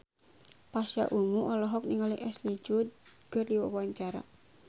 Pasha Ungu olohok ningali Ashley Judd keur diwawancara